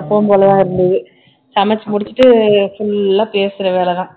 எப்பவும் போலதான் இருந்தது சமைச்சு முடிச்சுட்டு full ஆ பேசுற வேலைதான்